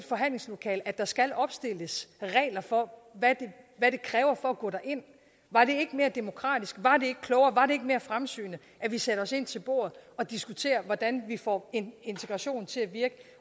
forhandlingslokalet at der skal opstilles regler for hvad det kræver at gå derind var det ikke mere demokratisk var det ikke klogere var det ikke mere fremsynet at vi satte os ind til bordet og diskuterede hvordan vi får en integration til at virke